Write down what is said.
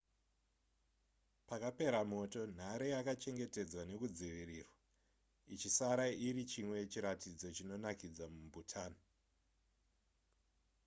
pakapera moto nhare yakachengetedzwa nekudzivirirwa ichisara ichiri chimwe chiratidzo chinonakidza mubhutan